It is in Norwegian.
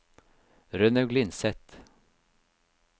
Rønnaug Lindseth